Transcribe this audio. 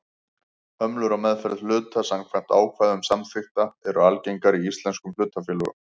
Hömlur á meðferð hluta samkvæmt ákvæðum samþykkta eru algengar í íslenskum hlutafélögum.